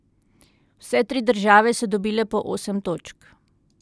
Vse tri države so dobile po osem točk.